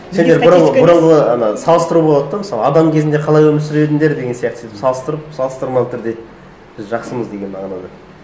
сендер бұрын бұрынғы ана салыстыру болады да мысалы адам кезінде қалай өмір сүріп едіңдер деген сияқты сөйтіп салыстырып салыстырмалы түрде біз жақсымыз деген мағынада